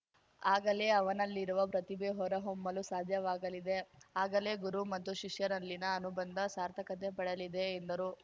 ಆಗಲೇ ಅವನಲ್ಲಿರುವ ಪ್ರತಿಭೆ ಹೊರ ಹೊಮ್ಮಲು ಸಾಧ್ಯವಾಗಲಿದೆ ಆಗಲೇ ಗುರು ಮತ್ತು ಶಿಷ್ಯರಲ್ಲಿನ ಅನುಬಂಧ ಸಾರ್ಥಕತೆ ಪಡೆಯಲಿದೆ ಎಂದರು